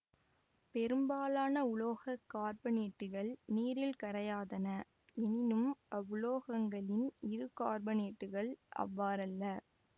பெரும்பாலான உலோக கார்பனேட்டுக்கள் நீரில் கரையாதன எனினும் அவ்வுலோகங்களின் இருகார்பனேட்டுக்கள் அவ்வாறல்ல